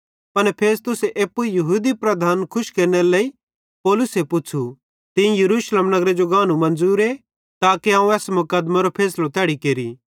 पन फेस्तुस एप्पू यहूदी लीडरन खुश केरनेरे लेइ पौलुसे पुच़्छ़ू तीं यरूशलेम नगरे जो गानू मन्ज़ुरे ताके अवं एस मुक़दमेरो फैसलो तैड़ी केरि